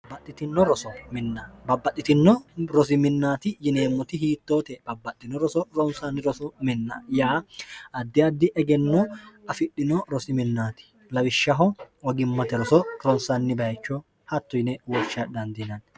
babbaxxitino rosiminaati yineemmoti hiittoote babbaxxino roso rounsaanni roso minna yaa addi addi egenno afidhino rosiminaati lawishshaho ogimmote roso kironsanni bayecho hatto yine wocha dhandiinanni